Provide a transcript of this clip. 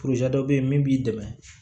dɔ bɛ yen min b'i dɛmɛ